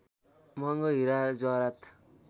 मँहगो हीरा जवाहरात